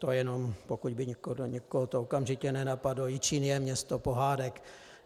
To jenom pokud by to někoho okamžitě nenapadlo, Jičín je město pohádek.